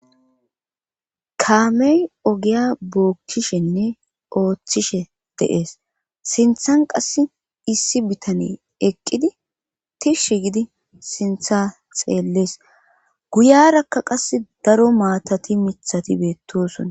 kaamey ogiya bookkishenne ooththishe deees sinthan qass issi bitane eqqidi tishsh gidi sintha xeellees guyarakka qass daro maatati mithati beettosona